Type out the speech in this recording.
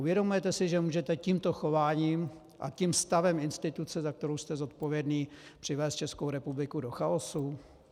Uvědomujete si, že můžete tímto chováním a tím stavem instituce, za kterou jste zodpovědný, přivést Českou republiku do chaosu?